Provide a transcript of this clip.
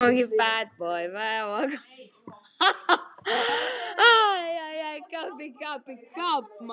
Lengi hefur verið umdeilt hvort algjör tónheyrn er meðfæddur eða lærður hæfileiki.